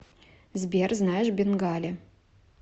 сбер знаешь бенгали